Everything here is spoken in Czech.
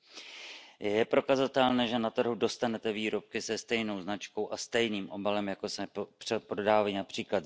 Je prokazatelné, že na trhu dostanete výrobky se stejnou značkou a stejným obalem, jako se prodávají např.